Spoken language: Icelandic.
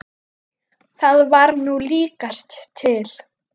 Það var nú líkast til.